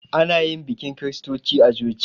Ana yi bikin kiristoci a coci